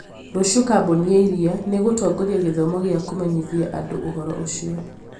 rũciũ kambuni ya iria nĩ ĩgũtongoria gĩthomo gĩa kũmenyithia andũ ũhoro ũcio